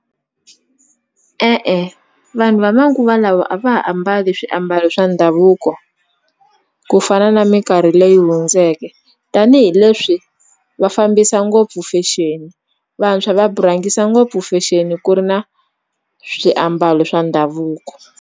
E-e vanhu va manguva lawa a va ha ambali swiambalo swa ndhavuko ku fana na minkarhi leyi hundzeke tanihileswi va fambisa ngopfu fashion vantshwa va rhangisa ngopfu fexeni ku ri na swiambalo swa ndhavuko.